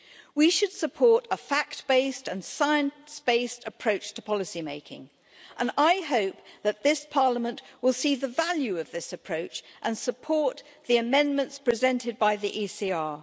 We should support a fact based and science based approach to policy making, and I hope that this Parliament will see the value of this approach and support the amendments presented by the ECR.